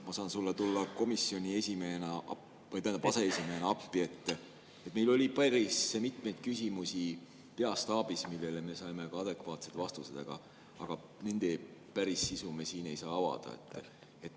Ma saan sulle tulla komisjoni aseesimehena appi, et meil oli peastaabis päris mitmeid küsimusi, millele me saime ka adekvaatsed vastused, aga nende päris sisu me siin ei saa avada.